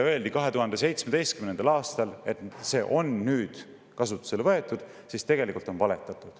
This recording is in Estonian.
Kui 2017. aastal öeldi, et see on nüüd kasutusele võetud, siis tegelikult valetati.